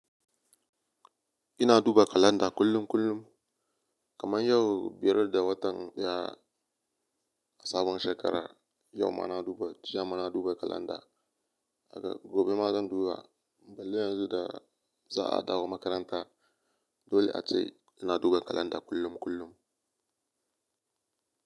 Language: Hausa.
Ina duba kalanda kullum kullum kaman yau biyar da watan daya a sabon shekara, yau ma na duba, kalanda jiya ma na duba kalanda, aga gobe ma zan duba. Balle yanzu da za a dawo makaranta dole a ce ina duba kalanda kullum kullum.